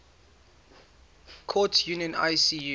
courts union icu